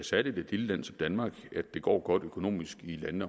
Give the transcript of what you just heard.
særligt et lille land som danmark at det går godt økonomisk i landene